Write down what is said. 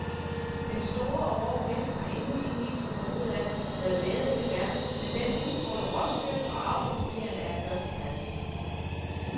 Den store og rå hest har endnu ikke helt fundet ud af, hvad væddeløb er, men den udstråler råstyrke, og avlspapirerne er førsteklasses.